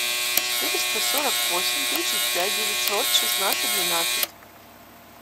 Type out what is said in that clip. четыреста сорок восемь тридцать пять девятьсот шестнадцать двенадцать